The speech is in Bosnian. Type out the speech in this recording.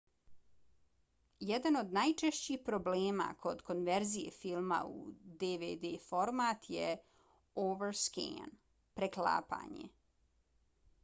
jedan od najčešćih problema kod konverzije filma u dvd format je overscan preklapanje